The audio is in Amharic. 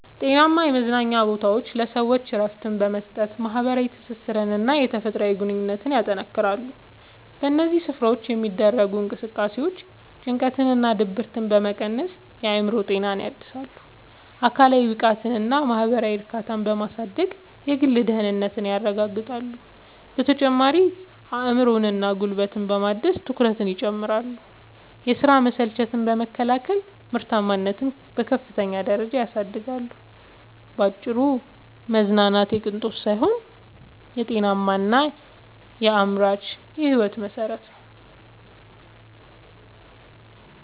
ጤናማ የመዝናኛ ቦታዎች ለሰዎች እረፍት በመስጠት፣ ማኅበራዊ ትስስርንና የተፈጥሮ ግንኙነትን ያጠናክራሉ። በእነዚህ ስፍራዎች የሚደረጉ እንቅስቃሴዎች ጭንቀትንና ድብርትን በመቀነስ የአእምሮ ጤናን ያድሳሉ፤ አካላዊ ብቃትንና ማኅበራዊ እርካታን በማሳደግም የግል ደህንነትን ያረጋግጣሉ። በተጨማሪም አእምሮንና ጉልበትን በማደስ ትኩረትን ይጨምራሉ፤ የሥራ መሰልቸትን በመከላከልም ምርታማነትን በከፍተኛ ደረጃ ያሳድጋሉ። ባጭሩ መዝናናት የቅንጦት ሳይሆን የጤናማና አምራች ሕይወት መሠረት ነው።